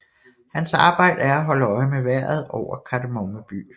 Hans arbejde er at holde øje med vejret over Kardemomme By